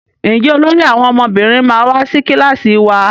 Njé olórí àwọn ọmọbìnrin ma wá sí kilasi wá?